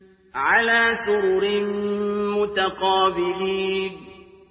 عَلَىٰ سُرُرٍ مُّتَقَابِلِينَ